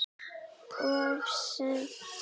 Of seint.